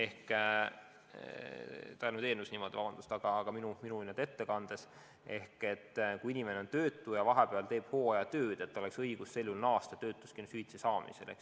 Kui inimene on töötu ja teeb vahepeal hooajatööd, siis tal oleks sel juhul õigus hakata uuesti töötuskindlustushüvitist saama.